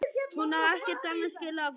Hún á ekkert annað skilið af honum.